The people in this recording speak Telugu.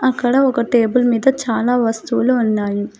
అక్కడ ఒక టేబుల్ మీద చాలా వస్తువులు ఉన్నాయి.